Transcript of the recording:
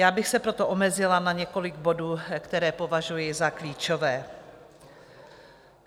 Já bych se proto omezila na několik bodů, které považuji za klíčové.